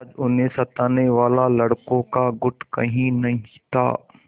आज उन्हें सताने वाला लड़कों का गुट कहीं नहीं था